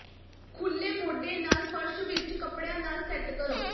ਖੁੱਲ੍ਹੇ ਮੋਢੇ ਨਾਲ ਫਰਸ਼ ਵਿੱਚ ਕਪੜਿਆਂ ਨਾਲ ਸੈੱਟ ਕਰੋ